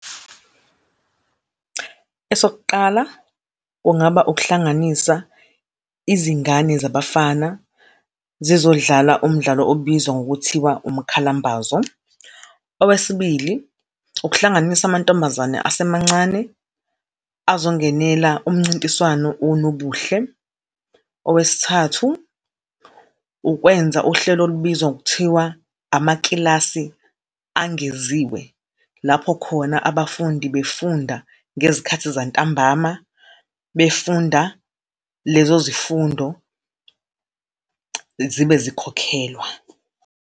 Esokuqala, kungaba ukuhlanganisa izingane zabafana, zizondlala umdlalo obizwa ngokuthiwa umkhalambazo. Owesibili, ukuhlanganisa amantombazane asemancane, azongenela umncintiswano wonobuhle. Owesithathu, ukwenza uhlelo olubizwa ngokuthiwa amakilasi angeziwe. Lapho khona abafundi befunda ngezikhathi zantambama, befunda lezo zifundo, zibe zikhokhelwa.